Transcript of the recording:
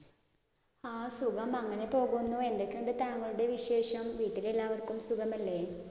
ആഹ് സുഖം. അങ്ങിനെ പോകുന്നു. എന്തൊക്കെയുണ്ട് തങ്ങളുടെ വിശേഷം? വീട്ടില്ലെലാവർക്കും സുഖമല്ലേ?